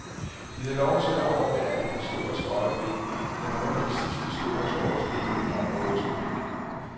De havde lov til at overvære et historisk øjeblik, da nogle af de sidste store skorstene i området skulle væk.